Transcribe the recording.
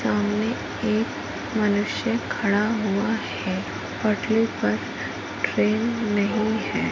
सामने एक मनुष्य खड़ा हुआ है पटरी पर ट्रेन नहीं है।